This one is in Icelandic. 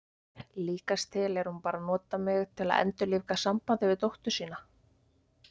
Líkast til er hún bara að nota mig til að endurlífga sambandið við dóttur sína.